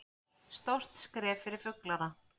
Stórt skref fyrir fuglana